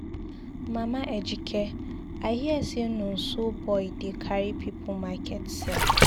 Mama Ejike, I hear say Nonso boy dey carry people market sell.